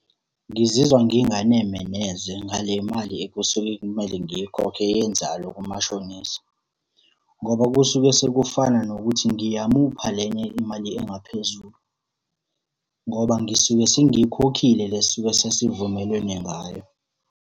Ngizizwa nginganeme neze ngale mali ekusuke kumele ngiyikhokhe yenzalo kamashonisa, ngoba kusuke sekufana nokuthi ngiyamupha lenye imali engaphezulu, ngoba ngisuke sengikhokhile le esisuke sesivumelene ngayo.